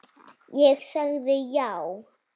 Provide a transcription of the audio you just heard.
Ég sagði já.